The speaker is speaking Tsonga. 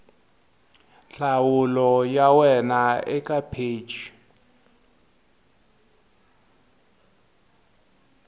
nhlamulo ya wena eka pheji